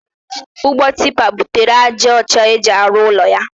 Ụgbọ tipa buterele ya ájá ọcha ọ ji arụ ụlọ ala ya.